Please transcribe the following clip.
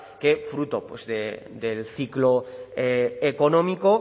que fruto del ciclo económico